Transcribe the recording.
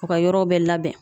U ka yɔrɔ bɛɛ labɛn.